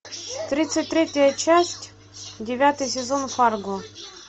тридцать третья часть девятый сезон фарго